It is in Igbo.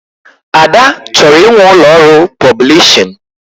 Ada chọrọ inwe ụlọ ọrụ pọblishin